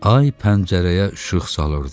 Ay pəncərəyə işıq salırdı.